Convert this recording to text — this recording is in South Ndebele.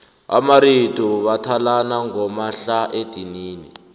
amaritu bathalana ngomahlaedinini